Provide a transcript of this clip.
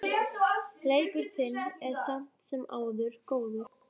Leikur þinn er samt sem áður góður.